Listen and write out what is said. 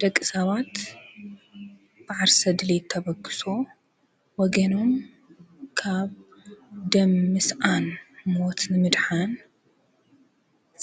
ደቂ ሰባት ብዓርሰ ድልት ተበክሶ ወገኖም ካብ ደምስኣን ሞት ንምድኃን